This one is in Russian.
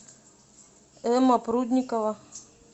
эмма прудникова